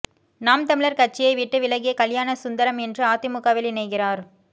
நாம் தமிழர் கட்சியை விட்டு விலகிய கல்யாணசுந்தரம் இன்று அதிமுகவில் இணைகிறார்